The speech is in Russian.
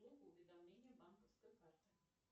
уведомления банковской карты